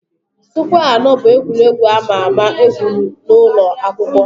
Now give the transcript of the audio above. Sụkwẹ́ anọ bụ egwuregwu a ma ama egwuru n'ụlọ akwụkwọ.